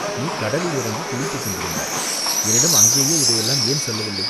நீ கடலில் இறங்கிக் குளித்துக் கொண்டிருந்தாய், என்னிடம் அங்கேயே இதையெல்லாம் ஏன் சொல்லவில்லை